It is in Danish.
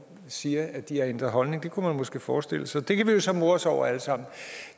siger at de har ændret holdning det kunne man måske forestille sig det kan vi jo så more os over alle sammen